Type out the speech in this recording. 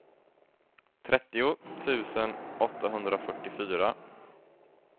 trettio tusen åttahundrafyrtiofyra